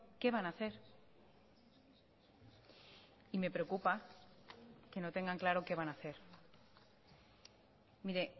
qué van a hacer y me preocupa que no tengan claro qué van a hacer mire